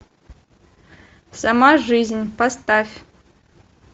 сама жизнь поставь